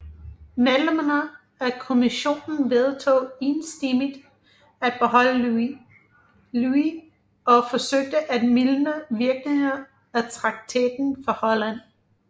Medlemmerne af kommissionen vedtog enstemmigt at beholde Louis og forsøgte at mildne virkningerne af traktaten for Holland